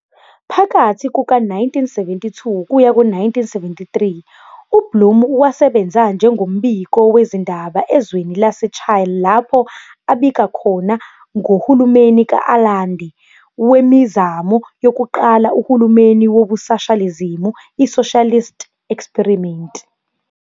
Phakathi kuka 1972-1973, uBlum wasebenza njengombiko wezindaba ezweni lase- Chile lapho abika khona ngohulumeni ka-Allende wemizamo yokuqala uhulumeni wobusashalizimu i-"socialist experiment".